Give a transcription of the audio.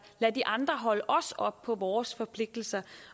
lade de andre holde os op på vores forpligtelser